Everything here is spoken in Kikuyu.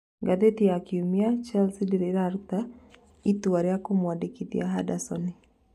Ngathĩti ya Kiumia, Chasile ndĩrĩ iratũa itua rĩa kũmwandĩkithia Handasoni.